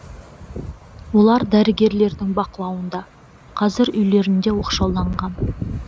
олар дәрігерлердің бақылауында қазір үйлерінде оқшауланған